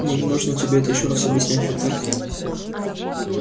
мне не нужно тебе это ещё раз объяснять ведь так